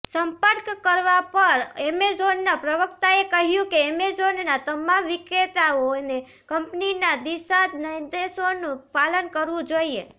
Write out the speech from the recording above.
સંપર્ક કરવા પર અમેઝોનના પ્રવક્તાએ કહ્યું કે અમેઝોનના તમામ વિક્રેતાઓને કંપનીના દિશાનિર્દેશોનું પાલન કરવું જોઇએ